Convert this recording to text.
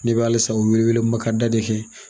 Ne b'alisa o wele wele ma ka da de kɛ